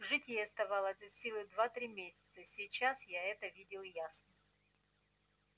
жить ей оставалось от силы два-три месяца сейчас я это видел ясно